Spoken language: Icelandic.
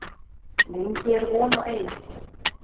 Lengi er von á einum